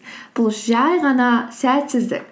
бұл жай ғана сәтсіздік